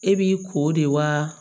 E b'i ko de wa